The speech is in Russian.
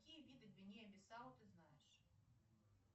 какие виды гвинея бисау ты знаешь